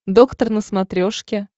доктор на смотрешке